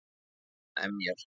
Hann emjar.